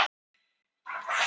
Fiktandi í hálsinum.